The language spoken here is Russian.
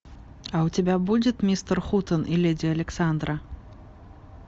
а у тебя будет мистер хутен и леди александра